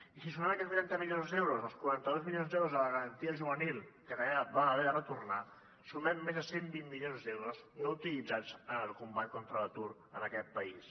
i si sumem aquests vuitanta milions d’euros als quaranta dos milions d’euros de la garantia juvenil que vam haver de retornar sumem més de cent i vint milions d’euros no utilitzats en el combat contra l’atur en aquest país